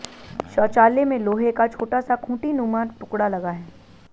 शौचालय में लोहे का छोटा सा खूंटीनुमा टुकड़ा लगा है